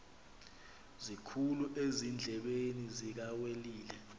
sikhulu ezindlebeni zikawelile